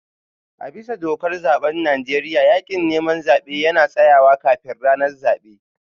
A bisa dokar zaben Najeriya, yakin neman zabe yana tsayawa kafin ranar zabe